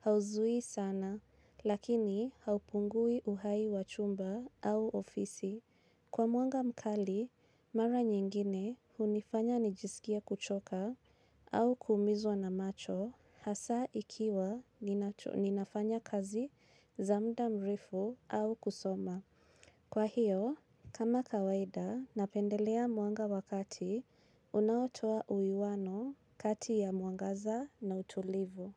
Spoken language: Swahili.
Hauzuwi sana, lakini haupungui uhai wa chumba au ofisi. Kwa mwanga mkali, mara nyingine hunifanya nijisikie kuchoka au kuumizwa na macho hasa ikiwa ninafanya kazi za muda mrefu au kusoma. Kwa hiyo, kama kawaida napendelea mwanga wa kati, unaotoa uwiano kati ya mwangaza na utulivu.